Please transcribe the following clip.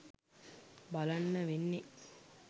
බලන්න වෙන්නේ.